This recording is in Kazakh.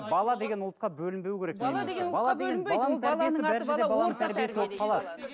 бала деген ұлтқа бөлінбеу керек менің ойымша